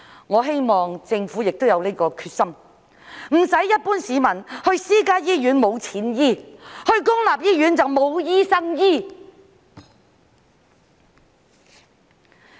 我希望政府亦有這個決心，不致令一般市民去私家醫院沒有錢醫治，去公立醫院則沒有醫生醫治。